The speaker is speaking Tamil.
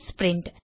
தமிழாக்கம் பிரியா